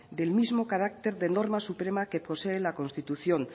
del mismo carácter de norma suprema que posee la constitución